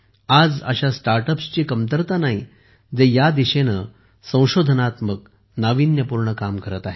आज अशा स्टार्ट अप्सची कमतरता नाही जे या दिशेने संशोधनात्मक नाविन्यपूर्ण काम करत आहेत